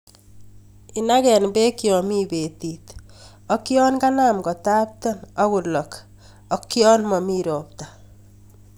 Iyagen beek yomi betit ak yon kanam kotapten ok kolok ak yon momi ropta.